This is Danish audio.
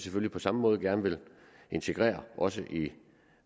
vi på samme måde gerne vil integrere også i